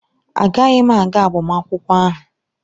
Agaghị m aga agbamakwụkwọ ahụ.